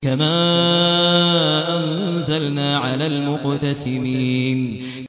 كَمَا أَنزَلْنَا عَلَى الْمُقْتَسِمِينَ